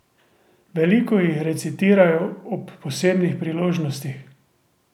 Veliko jih recitirajo ob posebnih priložnostih.